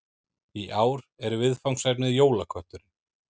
Í ár er viðfangsefnið Jólakötturinn